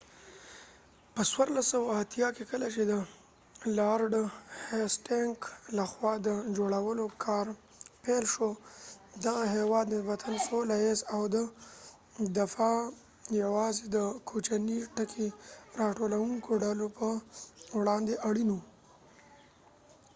په 1480 کې کله چې د لارډ هیسټینګ لخوا د جوړولو کار پیل شو دغه هیواد نسبتا سوله ایز و او دفاع یوازې د کوچني ټکي راټولوونکو ډلو په وړاندې اړین و